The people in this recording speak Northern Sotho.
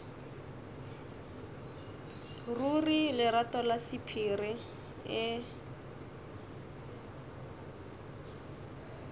ruri lerato la sephiri e